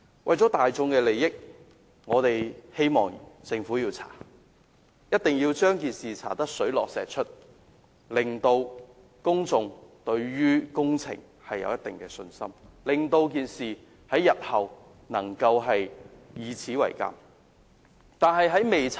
為了大眾的利益，我希望政府進行調查，一定要將事情查個水落石出，令公眾能對工程回復一定信心，事件日後亦可供鑒戒。